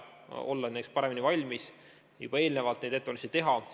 Me püüame nendeks paremini valmis olla ja juba eelnevalt ettevalmistusi teha.